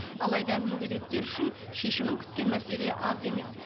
алайда мүгедектер үшін шешімін күткен мәселе аз емес